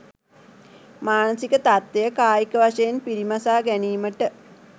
මානසික තත්ත්වය කායික වශයෙන් පිරිමසා ගැනීමට